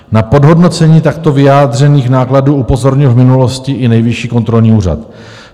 Na podhodnocení takto vyjádřených nákladů upozornil v minulosti i Nejvyšší kontrolní úřad.